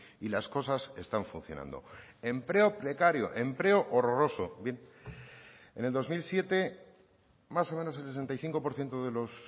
y las cosas están funcionando empleo precario empleo horroroso bien en el dos mil siete más o menos el sesenta y cinco por ciento de los